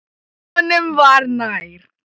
Honum var nær.